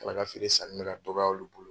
Ne kɔni ka feere sanni bɛ ka dɔgɔya olu bolo.